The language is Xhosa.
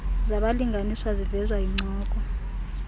zabalinganiswa zivezwa yincoko